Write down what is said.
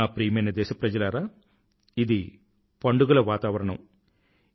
నా ప్రియమైన దేశప్రజలారా ఇది పండుగల వాతావరణం